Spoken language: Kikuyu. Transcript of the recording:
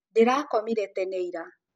Ndĩrakomĩre tene ira.